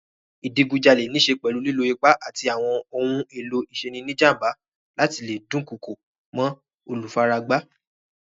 Ìdigunjalè níṣe pẹ̀lú lílo ipá àti àwọn ohun-èlò ìṣeni-níjàm̀ba láti le dunkoko mọ́ olùfaragbá.